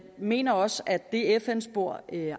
mener også at det fn spor